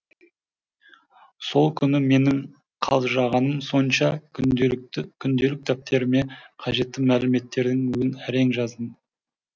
сол күні менің қалжырағаным сонша күнделік дәптеріме қажетті мәліметтердің өзін әрең жаздым